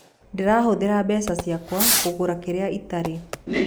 Ndĩrahũthĩra mbeca ciakwa kũgũra kĩrĩa itarĩ.